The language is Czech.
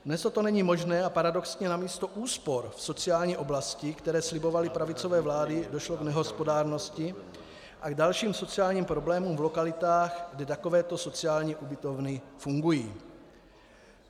Dnes toto není možné a paradoxně namísto úspor v sociální oblasti, které slibovaly pravicové vlády, došlo k nehospodárnosti a k dalším sociálním problémům v lokalitách, kde takovéto sociální ubytovny fungují.